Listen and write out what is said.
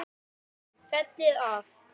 Fellið af.